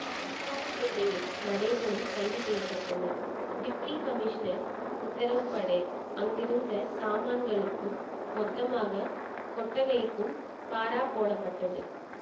குற்றாலம் பிள்ளையும் நடேசனும் கைது செய்ய பட்டனர் டிப்டி கமிஷனர் உத்தரவு படி அங்கிருந்த சாமான்களுக்கும் மொத்தமாக கொட்டகைக்கும் பாரா போடப்பட்டது